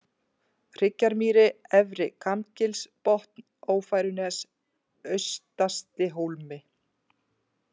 Hryggjarmýri, Efri-Kambgilsbotn, Ófærunes, Austastihólmi